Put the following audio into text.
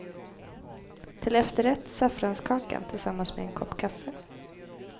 Till efterrätt saffranskakan tillsammans med en kopp kaffe.